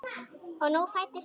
Og nú fæddist bros.